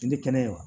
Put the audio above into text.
I tɛ kɛnɛ wa